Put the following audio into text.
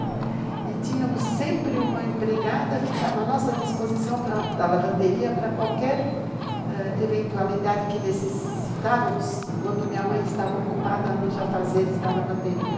E tínhamos sempre uma empregada que estava à nossa disposição da lavanderia para qualquer eventualidade que necessitávamos, quando minha mãe estava ocupada nos afazeres da lavanderia.